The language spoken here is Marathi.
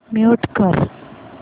म्यूट कर